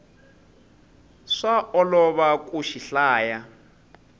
swa olova ku xi hlaya